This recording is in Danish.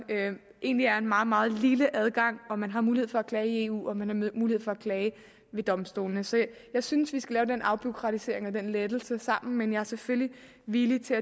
egentlig er en meget meget lille adgang og man har mulighed for at klage i eu og man har mulighed for at klage ved domstolene så jeg synes vi skal lave den afbureaukratisering og den lettelse sammen men jeg er selvfølgelig villig til